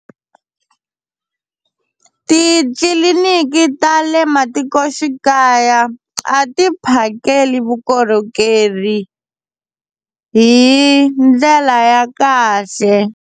Titliliniki ta le matikoxikaya a ti phakeli vukorhokeri hi ndlela ya kahle.